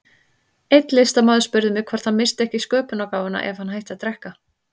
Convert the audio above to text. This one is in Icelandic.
Einn listamaður spurði mig hvort hann missti ekki sköpunargáfuna ef hann hætti að drekka.